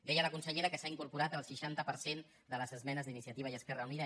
deia la consellera que s’han incorporat el seixanta per cent de les esmenes d’iniciativa i esquerra unida